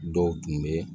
Dɔw tun bɛ